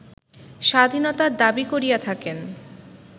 স্বাধীনতার দাবী করিয়া থাকেন